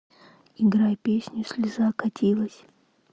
играй песню слеза катилась